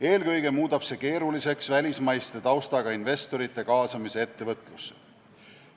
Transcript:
Eelkõige muudab see keeruliseks välismaise taustaga investorite kaasamise ettevõtlusse.